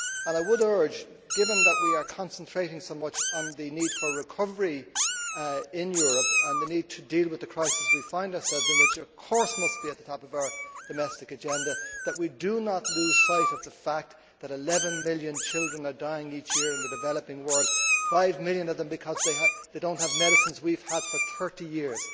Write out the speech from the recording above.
I would urge, given that we are concentrating so much on the need for recovery in Europe and the need to deal with the crisis we find ourselves in which, of course, must be at the top of our domestic agenda that we do not lose sight of the fact that 11 million children are dying each year in the developing world, five million of them because they do not have medicines we have had for 30 years.